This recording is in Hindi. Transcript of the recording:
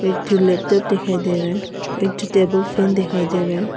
एक ठो लैपटॉप दिखाई दे रहा है एक ठो टेबल फैन दिखाई दे रहा है।